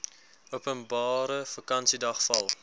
openbare vakansiedag val